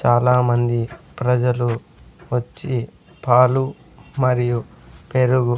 చాలామంది ప్రజలు వచ్చి పాలు మరియు పెరుగు --